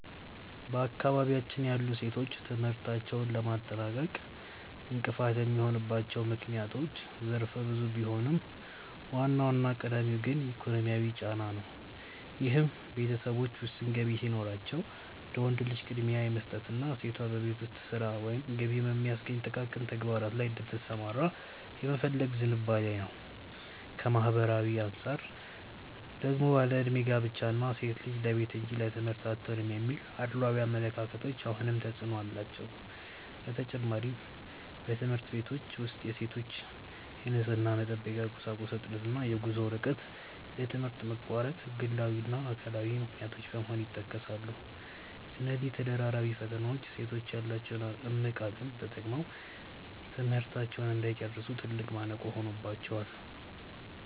በአካባቢያችን ያሉ ሴቶች ትምህርታቸውን ለማጠናቀቅ እንቅፋት የሚሆኑባቸው ምክንያቶች ዘርፈ ብዙ ቢሆኑም፣ ዋናውና ቀዳሚው ግን ኢኮኖሚያዊ ጫና ነው፤ ይህም ቤተሰቦች ውስን ገቢ ሲኖራቸው ለወንድ ልጅ ቅድሚያ የመስጠትና ሴቷ በቤት ውስጥ ሥራ ወይም ገቢ በሚያስገኙ ጥቃቅን ተግባራት ላይ እንድትሰማራ የመፈለግ ዝንባሌ ነው። ከማኅበራዊ አንጻር ደግሞ ያለዕድሜ ጋብቻ እና "ሴት ልጅ ለቤት እንጂ ለትምህርት አትሆንም" የሚሉ አድሏዊ አመለካከቶች አሁንም ተፅዕኖ አላቸው። በተጨማሪም፣ በትምህርት ቤቶች ውስጥ የሴቶች የንፅህና መጠበቂያ ቁሳቁስ እጥረት እና የጉዞ ርቀት ለትምህርት መቋረጥ ግላዊና አካባቢያዊ ምክንያቶች በመሆን ይጠቀሳሉ። እነዚህ ተደራራቢ ፈተናዎች ሴቶች ያላቸውን እምቅ አቅም ተጠቅመው ትምህርታቸውን እንዳይጨርሱ ትልቅ ማነቆ ሆነውባቸዋል።